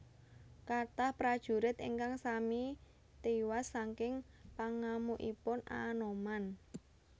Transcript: Kathah prajurit ingkang sami tiwas saking pangamukipun Anoman